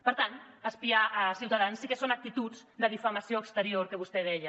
per tant espiar ciutadans sí que són actituds de difamació exterior que vostè deia